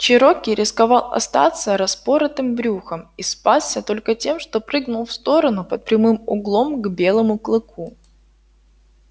чероки рисковал остаться распоротым брюхом и спасся только тем что прыгнул в сторону под прямым углом к белому клыку